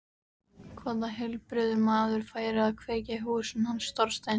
Hvaða heilbrigður maður færi að kveikja í húsinu hans Þorsteins?